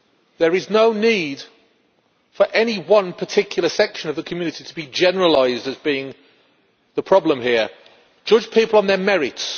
There is no need for any one particular section of the community to be generalised as being the problem here. Judge people on their merits.